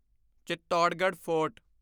Chittorgarh fort